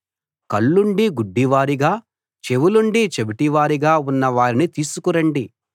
కళ్ళుండీ గుడ్డివారుగా చెవులుండీ చెవిటివారుగా ఉన్న వారిని తీసుకురండి